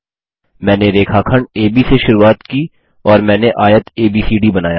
मैंने रेखाखंड एबी से शुरुआत की और मैंने आयत एबीसीडी बनाया